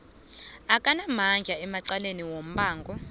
akanamandla emacaleni wombango